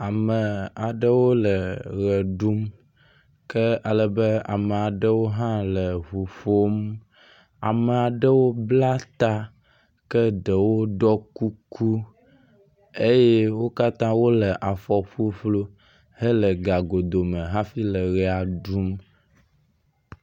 Ame aɖewo le ʋe ɖum, ke ale be ama ɖewo hã le ŋu ƒom, ama ɖewo bla ta, ke ɖewo ɖɔ kuku eye wo katã wole afɔ ƒuƒlu hele gagodo me hafi le ʋea ɖum.